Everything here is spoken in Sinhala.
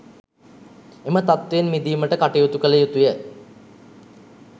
එම තත්ත්වයෙන් මිදීමට කටයුතු කළ යුතු ය.